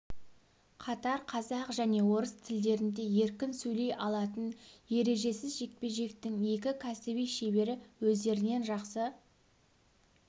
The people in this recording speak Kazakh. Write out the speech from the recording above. қатар қазақ және орыс тілдерінде еркін сөйлей алатын ережесіз жекпе-жектің екі кәсіби шебері өздерінен жақсы